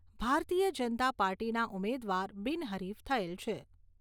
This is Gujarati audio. ભારતીય જનતા પાર્ટીના ઉમેદવાર બિન હરીફ થયેલ છે.